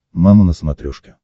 мама на смотрешке